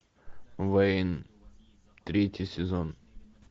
вейн третий сезон